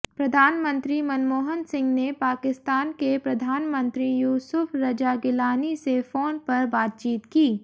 प्रधानमंत्री मनमोहन सिंह ने पाकिस्तान के प्रधानमंत्री यूसुफ रजा गिलानी से फोन पर बातचीत की